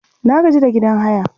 Na gaji da gidan haya